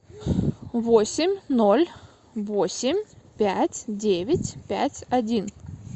восемь ноль восемь пять девять пять один